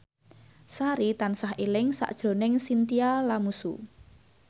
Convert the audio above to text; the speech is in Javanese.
Sari tansah eling sakjroning Chintya Lamusu